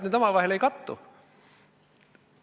Miks te arvate, et need ei kattu?